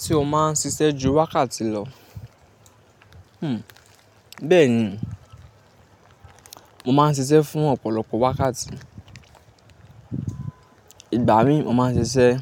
Tí o máa ń ṣiṣẹ́ ju wákàtí lọ? Hmm. Bẹ́ẹ̀ni, mo máa ń ṣiṣẹ́ fún ọ̀pọ̀lọpọ̀ wákàtí. Ìgbà mí mo máa ń ṣiṣẹ́